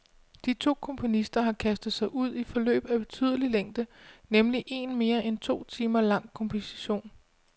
De to komponister har kastet sig ud i forløb af betydelig længde, nemlig en mere end to timer lang komposition.